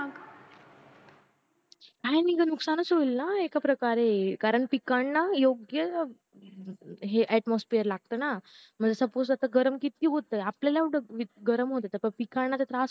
हा मग नुकसान होईल ना एकाप्रकारे कारण पिकांना योग्य atmosphere लागत ना suppose आता गरम किती होतंय आपल्याला किती गरम होत पिकांना तर त्रास